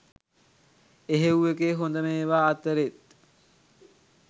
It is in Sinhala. එහෙව් එකේ හොඳම ඒවා අතරෙත්